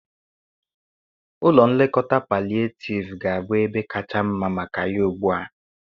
Ụlọ nlekọta palliativ ga-abụ ebe kacha mma maka ya ugbu a.